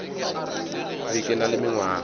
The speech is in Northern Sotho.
be ke na le mengwaga